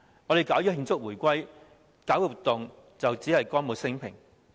我們舉辦慶祝回歸活動，只是歌舞昇平。